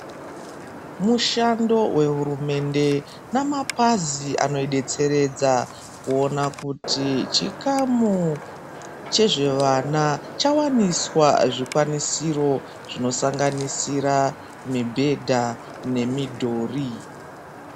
Mushando wehurumende namapazi anodetseredza kuona kuti chikamu chezvevana chawaniswa zvikwanisiro zvinosanganisira mibhedha nemidhuri.